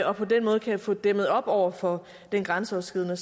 og på den måde kan få dæmmet op over for den grænseoverskridende